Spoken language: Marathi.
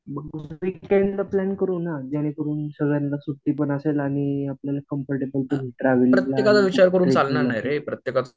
मग विकेंड ला प्लान करू ना, जेणेकरून सगळ्यांना सुट्टी पान असेल आणि कंफरटेबल पण होईल ट्रव्हॅलिंग ला